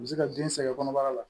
U bɛ se ka den sɛgɛn kɔnɔbara la